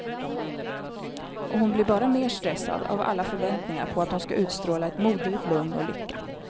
Och hon blir bara mer stressad av alla förväntningar på att hon ska utstråla ett moderligt lugn och lycka.